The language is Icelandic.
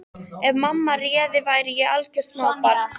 Ef mamma réði væri ég algjört smábarn.